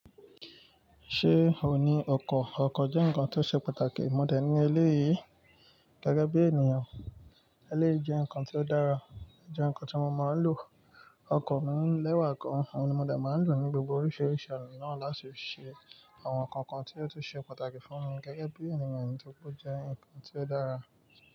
Ṣé ò ní ọkọ̀? Ọkọ̀ jẹ́ nǹkan tó ṣe pàtàkì mọ̀dẹ́ ní eléyí. Gẹ́gẹ́ bí ènìyàn, eléyí jẹ́ ǹkan ti o dára, o jẹ́ ǹkan tí mo máa ń lò. Ọkọ̀ mí lẹ́wà kan, òun ni mo dẹ̀ máa ń lò ní gbogbo oríṣiríṣi oná nà láti ṣe àwọn ǹkan kan tí ó tún ṣe pàtàkì fún mi gẹ́gẹ́ bí ènìyàn ni tóri pe o jẹ́ ǹkan tí ó dára.